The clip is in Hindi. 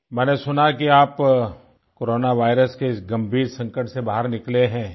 मैंने सुना है कि आप कोरोना वायरस के इस गंभीर संकट से बाहर निकले हैं